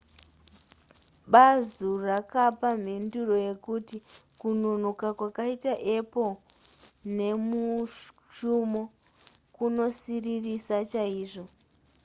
bazu rakapa mhinduro yekuti kunonoka kwakaita apple nemushumo kunosiririsa chaizvo